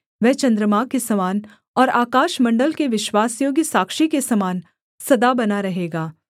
वह चन्द्रमा के समान और आकाशमण्डल के विश्वासयोग्य साक्षी के समान सदा बना रहेगा सेला